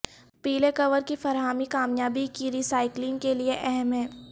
پیلے کور کی فراہمی کامیابی کی ری سائیکلنگ کے لئے اہم ہے